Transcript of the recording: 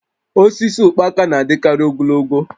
Osisi ụkpaka na-adịkarị ogologo